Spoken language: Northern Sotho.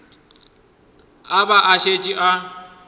a ba a šetše a